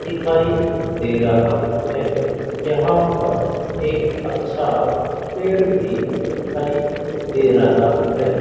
दिखाई दे रहा है यहां पर एक अच्छा पेड़ भी दिखाई दे रहा है।